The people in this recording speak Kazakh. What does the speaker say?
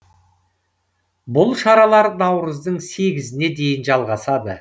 бұл шаралар наурыздың сегізіне дейін жалғасады